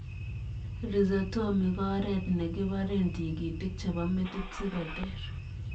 Rhizotomi koo oreet nekiparee tigitik chepoo metit sikoteer